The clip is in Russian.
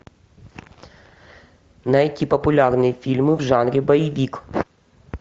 найти популярные фильмы в жанре боевик